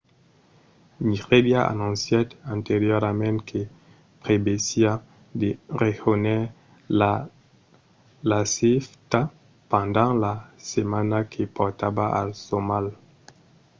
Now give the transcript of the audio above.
nigèria anoncièt anteriorament que prevesiá de rejónher l'afcfta pendent la setmana que portava al somalh